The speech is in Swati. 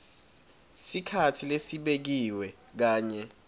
sikhatsi lesibekiwe kanye